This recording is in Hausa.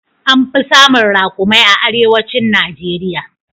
An fi samun raƙumai a arewacin Najeriya.